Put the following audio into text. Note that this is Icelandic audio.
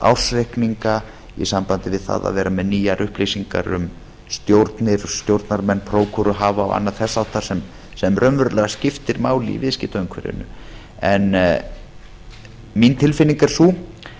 ársreikninga í sambandi við það að vera með nýjar upplýsingar um stjórnir stjórnarmenn prókúruhafa og annað þess háttar sem raunverulega skiptir máli í viðskiptaumhverfinu en mín tilfinning er sú